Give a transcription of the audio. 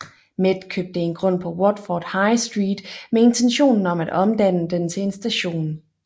Met købte en grund på Watford High Street med intentionen om at omdanne den til en station